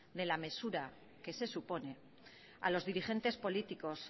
de la mesura que se supone a los dirigentes políticos